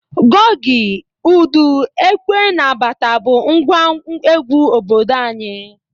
Goge, udu, ekwe na bata bụ ngwa egwu obodo anyị.